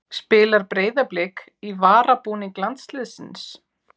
Spilar Breiðablik í varabúning landsliðsins?